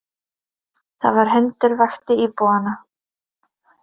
Það var hundur vakti íbúana